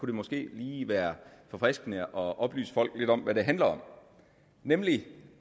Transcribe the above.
det måske lige være forfriskende at oplyse folk lidt om hvad det handler om nemlig